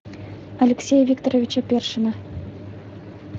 алексея викторовича першина